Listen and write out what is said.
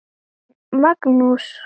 En Magnús